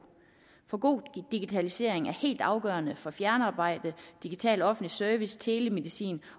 for god digitalisering er helt afgørende for fjernarbejde digital offentlig service telemedicin